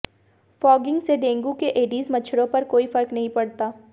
fogging से dengue के Aedes मच्छरों पर कोई फर्क नहीं पड़ता